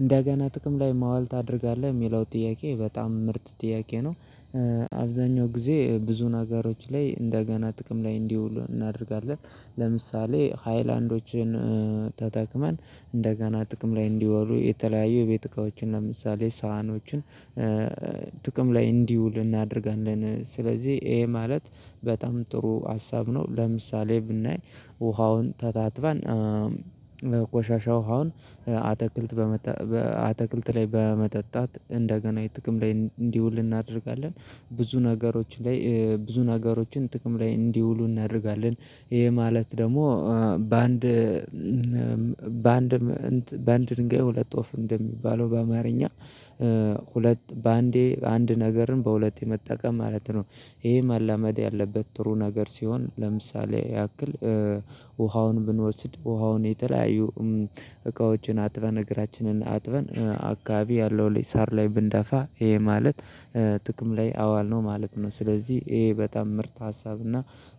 እንደገና ጥቅም ላይ ማዋል ታደርጋለህ? የሚለው ጥያቄ በጣም ምርጥ ጥያቄ ነው። አብዛኛው ጊዜ ብዙ ነገሮች ላይ እንደገና ጥቅም ላይ እንዲውሉ እናደርጋለን። ለምሳሌ ሃይላንዶችን ተጠቅመን እንደገና ጥቅም ላይ እንዲወሩ የተለያዩ ቤት እቃዎችን ለምሳሌ ሳህኖችን ጥቅም ላይ እንዲውል እናደርጋለን። ስለዚህ ይሄ ማለት በጣም ጥሩ ሀሳብ ነው። ለምሳሌ ብናይ ውሃውን ተጣጥበን ቆሻሻ ውሃውን አትክልት በማጠጣት እንደገና ጥቅም ላይ እንዲውል እናደርጋለን። ብዙ ነገሮች ላይ ብዙ ነገሮችን ጥቅም ላይ እንዲውሉ እናደርጋለን። ይሄ ማለት ደግሞ በአንድ በአንድ ድንጋይ ሁለት ወፍ እንደሚባለው በአማርኛ ሁለት በአንዴ አንድ ነገርን በሁለት የመጠቀም ማለት ነው። ይሄ መለመድ ያለበት ጥሩ ነገር ሲሆን ለምሳሌ ያክል ውሃውን ብንወስድ ውሃውን የተለያዩ እቃዎችን አጥበን እግራችንን አጥበን አካባቢ ያለው ሳር ላይ ብንደፋ ይሄ ማለት ጥቅም ላይ አዋልነው ማለት ነው። ስለዚህ ይሄ በጣም ምርት ሀሳብና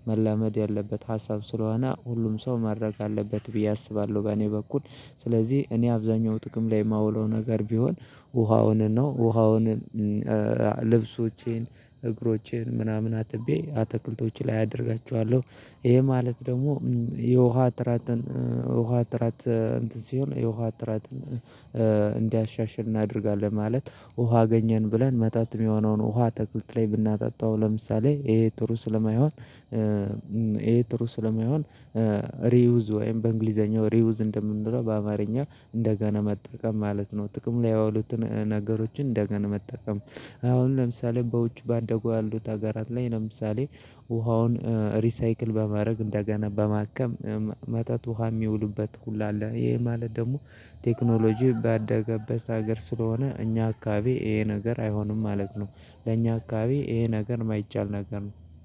መለመድ ያለበት ሀሳብ ስለሆነ ሁሉም ሰው ማድረግ አለበት ብዬ አስባለሁ። በእኔ በኩል ስለዚህ እኔ አብዛኛው ጥቅም ላይ የማውለው ነገር ቢሆን ውሃውንም ነው። ውሃውንም ልብሶቼን፣ እግሮቼን ምናምን አጥቤ አትክልቶቼ ላይ አደርጋቸኋለሁ። ይሄ ማለት ደግሞ የውሃ ጥራትን ውሃ ጥራት እንትን ሲሆን የውሃ ጥራትን እንዲያሻሽል እናደርጋለን። ማለት ውሃ አገኘን ብለን መጠጥ የሚሆነውን ውሃ አትክልት ላይ ብናጣጣው ለምሳሌ ይሄ ጥሩ ስለማይሆን ይሄ ጥሩ ስለማይሆን ሪዩዝ ወይም በእንግሊዘኛው ሪዩዝ እንደምንለው በአማርኛ እንደገና መጠቀም ማለት ነው። ጥቅም ላይ የዋሉትን ነገሮችን እንደገና መጠቀም። አሁን ለምሳሌ በውጭ ባደጉ ያሉት ሀገራት ላይ ለምሳሌ ውሃውን ሪሳይክል በማድረግ እንደገና በማከም መጠጥ ውሃ የሚውልበት ሁላ አለ። ይሄ ማለት ደግሞ ቴክኖሎጂ ባደገበት ሀገር ስለሆነ እኛ አካባቢ ይሄ ነገር አይሆንም ማለት ነው። ለእኛ አካባቢ ይሄ ነገር የማይቻል ነገር ነው።